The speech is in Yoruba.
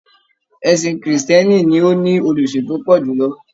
Ẹ̀sìn krìstìẹ́nì ló ní olùsìn tó pọ̀ jùlọ.